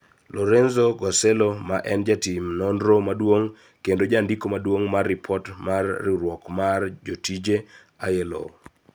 Lorenzo Guarcello, ma en jatim nonro maduong' kendo jandiko maduong' mar ripot marriwruok mar jotije( ILO),